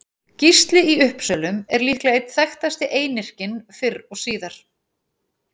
Gísli í Uppsölum er líklega einn þekktasti einyrkinn fyrr og síðar.